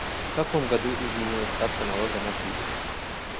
в каком году изменилась ставка налога на прибыль